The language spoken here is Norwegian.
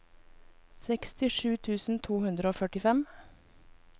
sekstisju tusen to hundre og førtifem